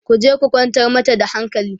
ku je ku kwantar mata da hankali!